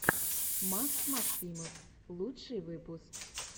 макс максимов лучший выпуск